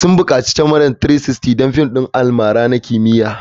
Sun bukaci kyamara 360 don fim ɗin almara na kimiyya.